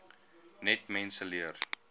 net mense leer